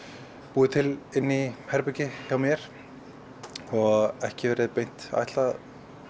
búið til inni í herbergi hjá mér og ekki verið beint ætlað